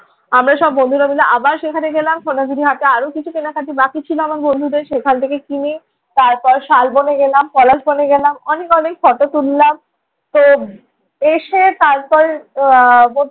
আমরা সব বন্ধুরা মিলে আবার সেখানে গেলাম। সোনাঝুড়ি হাটে আরো কিছু কেনাকাটা বাকি ছিল, আমার বন্ধুদের সেখান থেকে কিনে তারপর শালবনে গেলাম, পলাশবনে গেলাম। অনেক অনেক ফটো তুললাম। তো এসে তারপর আহ